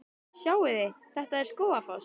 Sjáiði! Þetta er Skógafoss.